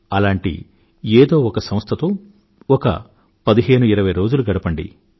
అలాంటి ఏదో ఒక సంస్థతో ఒక పదిహేను ఇరవై రోజులు గడపండి